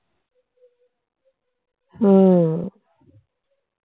উম